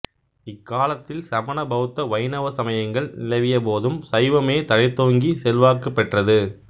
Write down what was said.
இக்காலத்தில் சமண பௌத்த வைணவ சமயங்கள் நிலவிய போதும் சைவமே தழைத்தோங்கி செல்வாக்கு பெற்றது